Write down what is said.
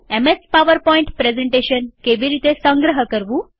MS PowerPoint presentation તરીકે કેવી રીતે સંગ્રહ કરવું